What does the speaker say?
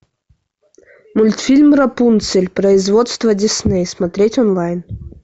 мультфильм рапунцель производство дисней смотреть онлайн